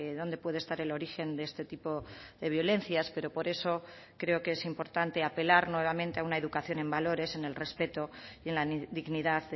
dónde puede estar el origen de este tipo de violencias pero por eso creo que es importante apelar nuevamente a una educación en valores en el respeto y en la dignidad